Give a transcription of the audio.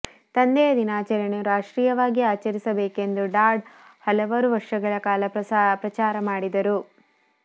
ತಂದೆಯ ದಿನಾಚರಣೆಯನ್ನು ರಾಷ್ಟ್ರೀಯವಾಗಿ ಆಚರಿಸಬೇಕೆಂದು ಡಾಡ್ ಹಲವಾರು ವರ್ಷಗಳ ಕಾಲ ಪ್ರಚಾರ ಮಾಡಿದರು